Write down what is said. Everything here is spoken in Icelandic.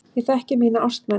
Ég þekki mína ástmenn.